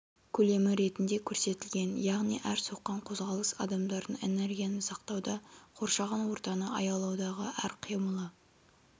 көлемі ретінде көрсетілген яғни әр соққан қозғалыс адамдардың энергияны сақтауда қоршаған ортаны аялаудағы әр қимылы